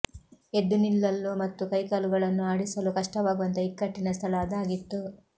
ಎದ್ದು ನಿಲ್ಲಲ್ಲು ಮತ್ತು ಕೈಕಾಲುಗಳನ್ನು ಆಡಿಸಲೂ ಕಷ್ಟವಾಗುವಂತ ಇಕ್ಕಟ್ಟಿನ ಸ್ಥಳ ಅದಾಗಿತ್ತು